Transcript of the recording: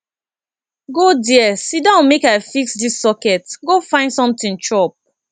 go there sit down make i fix dis socket go find something chop